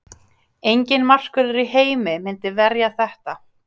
Enginn markvörður í heimi myndi verja þetta.